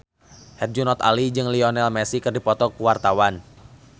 Herjunot Ali jeung Lionel Messi keur dipoto ku wartawan